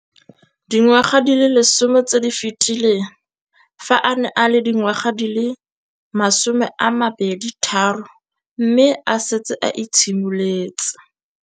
Dingwaga di le 10 tse di fetileng, fa a ne a le dingwaga di le 23 mme a setse a itshimoletse